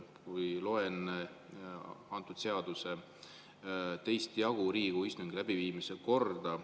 Ma loen selle seaduse 2. jagu, Riigikogu istungi läbiviimise korda.